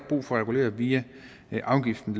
brug for at regulere via afgiften